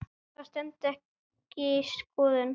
Það stenst ekki skoðun.